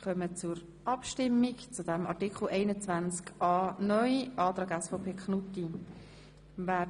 Wir kommen zur Abstimmung über den Antrag SVP Knutti zu Artikel 21a (neu).